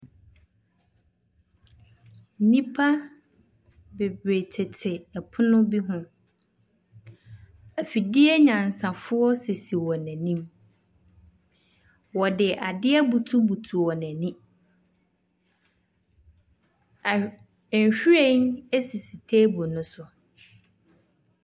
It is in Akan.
Nnipa bebree tete pono bi ho. Afidie nyansafoɔ sisi wɔn anim. Wɔde adeɛ abutubutu wɔn ani. Ahw nhwiren sisi table no so.